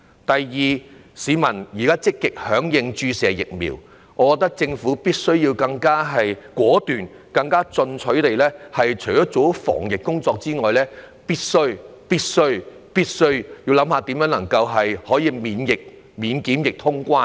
第二，市民現時積極響應注射疫苗。我覺得政府必須更果斷、更進取，除做好防疫工作外，必須研究如何能夠免檢疫通關。